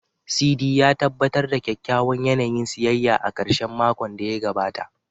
Sidi, ya tabbatar da kyakkyawan yanayin siyayya a ƙarshen makon da ya gabata.